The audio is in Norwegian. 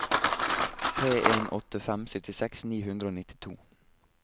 tre en åtte fem syttiseks ni hundre og nittito